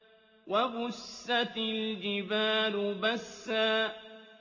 وَبُسَّتِ الْجِبَالُ بَسًّا